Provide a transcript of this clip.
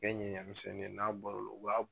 bɛɛ ye ɲɛɲɛmisɛnnin ye n'a u b'a.